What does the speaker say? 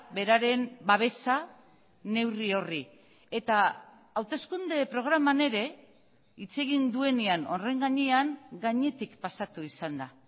beraren babesa neurri horri eta hauteskunde programan ere hitz egin duenean horren gainean gainetik pasatu izan da